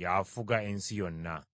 y’afuga ensi yonna.